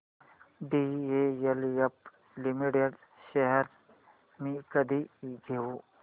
DLF limited shares मी कधी घेऊ